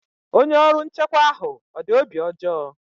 Onye ọrụ nchekwa ahụ ọ dị obi ọjọọ?